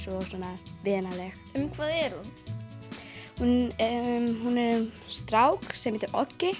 og svona vinaleg um hvað er hún hún hún er um strák sem heitir